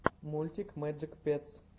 мультик мэджик петс